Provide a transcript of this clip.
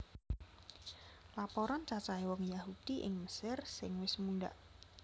Laporan cacahé wong Yahudi ing Mesir sing wis mundhak